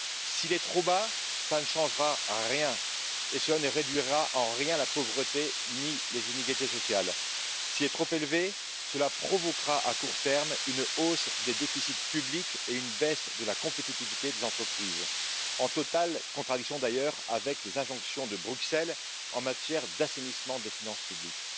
S'il est trop bas, cela ne changera rien et cela ne réduira en rien la pauvreté, ni les inégalités sociales. S'il est trop élevé, cela provoquera à court terme une hausse des déficits publics et une baisse de la compétitivité des entreprises, en totale contradiction d'ailleurs avec les injonctions de Bruxelles en matière d'assainissement des finances publiques.